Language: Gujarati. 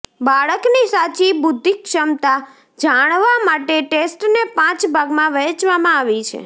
બાળકની સાચી બુદ્ધિક્ષમતા જાણવા માટે ટેસ્ટને પાંચ ભાગમાં વહેંચવામાં આવી છે